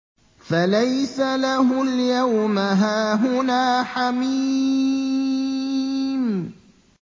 فَلَيْسَ لَهُ الْيَوْمَ هَاهُنَا حَمِيمٌ